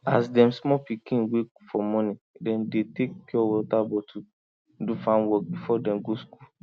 as dem small pikin wake for morning dem dey take pure water bottle do farm work before dem go school